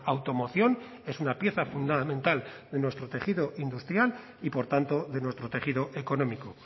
automoción es una pieza fundamental de nuestro tejido industrial y por tanto de nuestro tejido económico